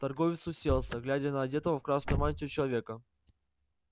торговец уселся глядя на одетого в красную мантию человека